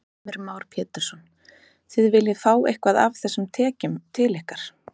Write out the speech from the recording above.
Heimir Már Pétursson: Þið viljið fá eitthvað af þessum tekjum til ykkar?